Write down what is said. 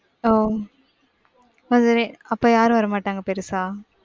ஓ அது அப்ப யாரும் வரமாட்டாங்க பெருசா.